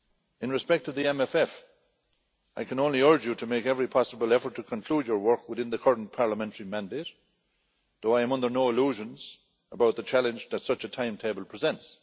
In respect of the MFF, I can only urge you to make every possible effort to conclude your work within the current parliamentary mandate, though I am under no illusions about the challenge that such a timetable presents.